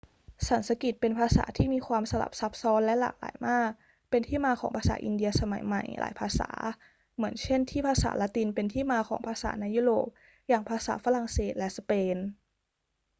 สันสกฤตเป็นภาษาที่มีความสลับซับซ้อนและหลากหลายมาก เป็นที่มาของภาษาอินเดียสมัยใหม่หลายภาษา เหมือนเช่นที่ภาษาละตินเป็นที่มาของภาษาในยุโรปอย่างภาษาฝรั่งเศสและสเปน